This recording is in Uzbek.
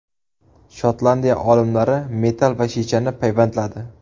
Shotlandiya olimlari metall va shishani payvandladi.